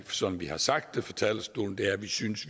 som vi har sagt fra talerstolen er at vi synes